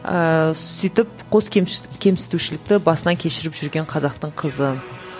ыыы сөйтіп қос кемсітушілікті басынан кешіріп жүрген қазақтың қызы